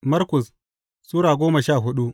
Markus Sura goma sha hudu